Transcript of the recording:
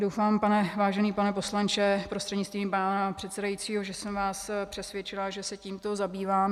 Doufám, vážený pane poslanče prostřednictvím pana předsedajícího, že jsem vás přesvědčila, že se tímto zabývám.